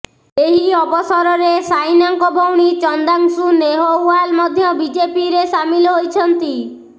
ଏହି ଅବସରରେ ସାଇନାଙ୍କ ଭଉଣୀ ଚନ୍ଦାଂଶୁ ନେହଓ୍ୱାଲ ମଧ୍ୟ ବିଜେପିରେ ସାମିଲ ହୋଇଛନ୍ତି